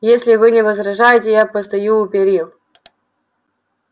если вы не возражаете я постою у перил